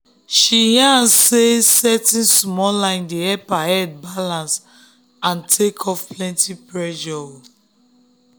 she yarn say setting small line dey help her head balance and take off plenty pressure.